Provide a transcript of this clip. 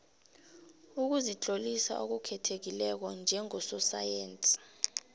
ukuzitlolisa okukhethekileko njengososayensi